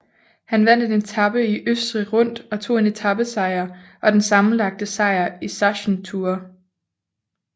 Han vandt en etape i Østrig Rundt og tog en etapesejr og den sammenlagte sejr i Sachsen Tour